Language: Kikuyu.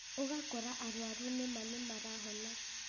ũgakora arwaru nĩma nĩmarahona